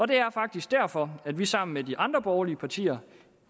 det er faktisk derfor vi sammen med de andre borgerlige partier